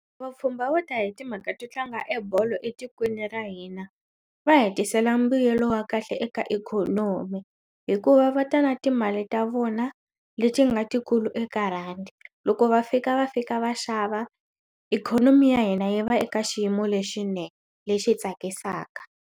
Vapfhumba vo ta hi timhaka to tlanga ebolo etikweni ra hina va hetisela mbuyelo wa kahle eka ikhonomi hikuva va ta na timali ta vona leti nga tikulu eka rhandi loko va fika va fika va xava ikhonomi ya hina yi va eka xiyimo lexinene lexi tsakisaka.